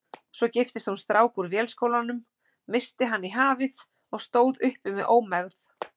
Svo giftist hún strák úr Vélskólanum, missti hann í hafið og stóð uppi með ómegð.